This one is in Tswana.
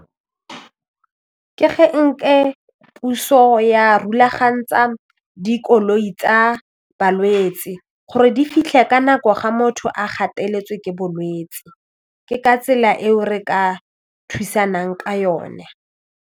Ke ge puso ya rulaganyetsa dikoloi tsa balwetsi gore di fitlhe ka nako ga motho a gateletswe ke bolwetsi ke ka tsela eo re ka thusang ka yone.